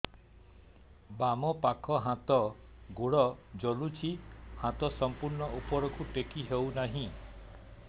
ବାମପାଖ ହାତ ଗୋଡ଼ ଜଳୁଛି ହାତ ସଂପୂର୍ଣ୍ଣ ଉପରକୁ ଟେକି ହେଉନାହିଁ